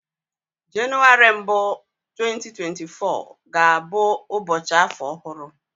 Jenụwarị mbụ 2024 ga-abụ ụbọchị afọ ọhụrụ